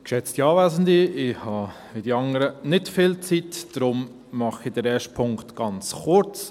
Ich habe wie die anderen nicht viel Zeit, darum mache ich den ersten Punkt ganz kurz: